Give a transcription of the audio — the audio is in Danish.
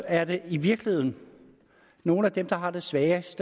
er det i virkeligheden nogle af dem der har det sværest